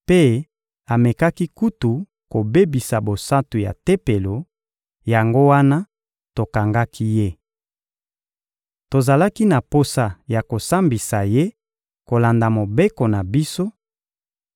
mpe amekaki kutu kobebisa bosantu ya Tempelo, yango wana tokangaki ye. [Tozalaki na posa ya kosambisa ye kolanda Mobeko na biso,